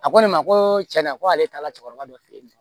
A ko ne ma ko cɛn na k'ale taala cɛkɔrɔba dɔ fɛ yen nɔ